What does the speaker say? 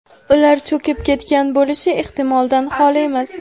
ular cho‘kib ketgan bo‘lishi ehtimoldan xoli emas.